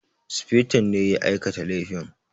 Sufeton ne ya aikata laifin